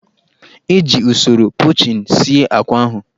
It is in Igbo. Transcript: E ji usoro pochin sie akwa ahụ.